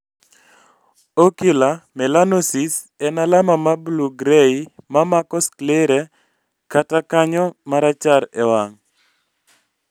Ocular melanosis en alama ma blue gray mamako sclerae kata kanyo marachar e wang